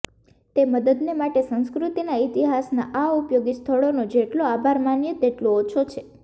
તે મદદને માટે સંસ્કૃતિના ઇતિહાસનાં આ ઉપયોગી સ્થળોનો જેટલો આભાર માનીએ તેટલો ઓછો છે